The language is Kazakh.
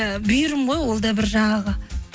і бұйырым ғой ол да бір жаңағы